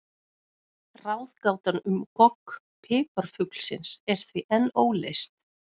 Ráðgátan um gogg piparfuglsins er því enn óleyst.